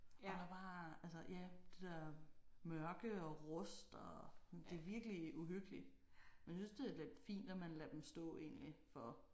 Og der er bare altså ja det der mørke og rust og det er virkelig uhyggelig. Men jeg synes det er lidt fint at man lader dem stå egentlig for